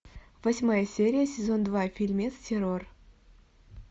восьмая серия сезон два фильмец террор